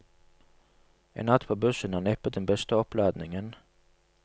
En natt på bussen er neppe den beste oppladningen.